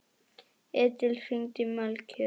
Edil, hringdu í Melkjör.